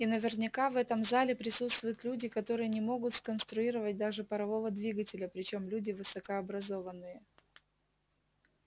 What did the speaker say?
и наверняка в этом зале присутствуют люди которые не могут сконструировать даже парового двигателя причём люди высокообразованные